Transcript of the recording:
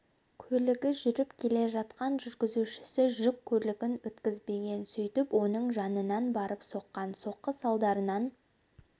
көлігі жүріп келе жатқан жүргізушісі жүк көлігін өткізбеген сөйтіп оның жанынан барып соққан соққы салдарынан